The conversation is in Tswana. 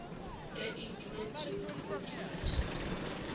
e e duetsweng go dirisa